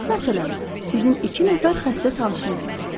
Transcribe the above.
Məsələn, sizin iki nəfər xəstə tanışınız vardır.